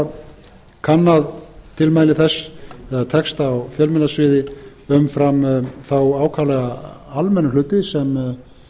hafa kannað tilmæli þess eða texta á fjölmiðlasviði umfram þá ákaflega almennu hluti sem